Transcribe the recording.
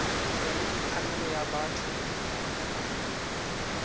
wena ke phanele ya batho